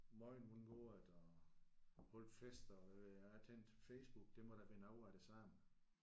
Mojn hvordan går det og holdte fester og hvad ved jeg og tænkte Facebook det må da være noget af det samme